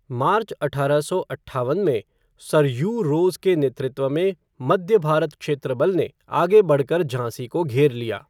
मार्च अठारह सौ अट्ठावन में, सर ह्यू रोज के नेतृत्व में मध्य भारत क्षेत्र बल ने आगे बढ़कर झांसी को घेर लिया।